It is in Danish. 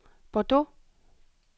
Bordeaux